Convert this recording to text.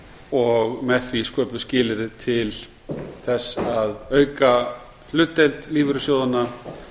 og með því sköpuð skilyrði til þess að auka hlutdeild lífeyrissjóðanna